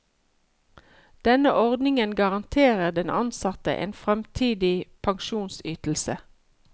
Denne ordningen garanterer den ansatte en fremtidig pensjonsytelse.